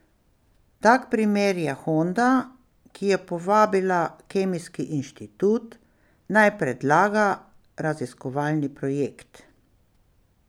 Tak primer je Honda, ki je povabila Kemijski inštitut, naj predlaga raziskovalni projekt.